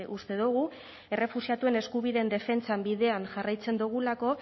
uste dugu errefuxiatuen eskubideen defentsan bidean jarraitzen dugulako